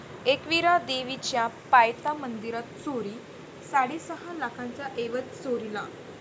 एकविरा देवीच्या पायथा मंदिरात चोरी, साडेसहा लाखांचा ऐवज चोरीला